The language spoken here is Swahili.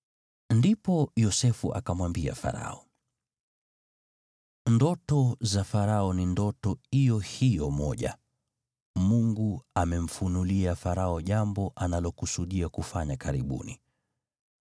Ndipo Yosefu akamwambia Farao, “Ndoto za Farao ni ndoto iyo hiyo moja. Mungu amemfunulia Farao jambo analokusudia kufanya karibuni.